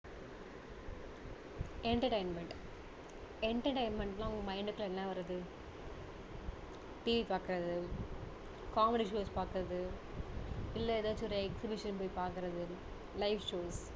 entertaiment entertainment னா உங்க mind குள்ள என்ன வருது TV பாக்குறது comedy show பாக்குறது இல்ல ஏதாச்சும் ஒரு exhibition போய் பாக்குறது live show